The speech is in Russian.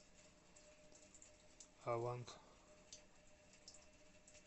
авант